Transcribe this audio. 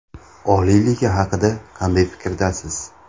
Oliy liga haqida qanday fikrdasiz?